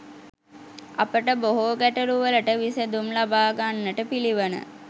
අපට බොහෝ ගැටලුවලට විසැඳුම් ලබා ගන්නට පිළිවන.